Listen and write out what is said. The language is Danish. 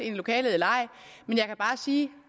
i lokalet eller ej men jeg kan bare sige